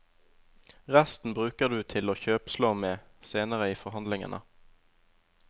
Resten bruker du til å kjøpslå med senere i forhandlingene.